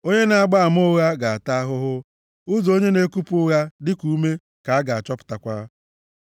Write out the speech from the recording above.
Onye na-agba ama ụgha ga-ata ahụhụ, ụzọ onye na-ekupụ ụgha dịka ume ka a ga-achọpụtakwa.